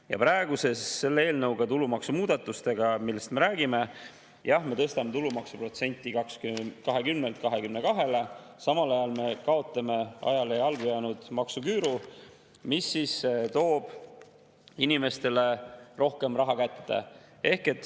Ja praegu selle eelnõuga, tulumaksumuudatustega, millest me räägime, jah, me tõstame tulumaksu protsendi 20‑lt 22‑le, samal ajal me kaotame ajale jalgu jäänud maksuküüru, mis toob inimestele rohkem raha kätte.